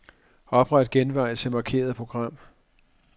Opret genvej til markerede program.